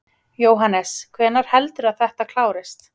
Jóhannes: Hvenær heldurðu að þetta klárist?